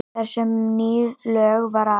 Þar sem um ný lög var að